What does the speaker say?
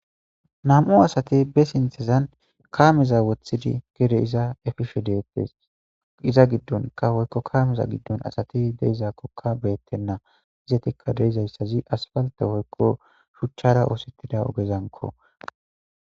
nam7u asati be sinthezan kaameza wothidi gede iza efishe deettes iza giddonka hoykko kaameza giddon asati deizaakkokka beettenna izetikka deizayssazi asfalte hoykko shuchchara oosettida ogezanko